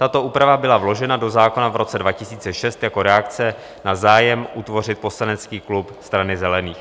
Tato úprava byla vložena do zákona v roce 2006 jako reakce na zájem utvořit poslanecký klub Strany zelených.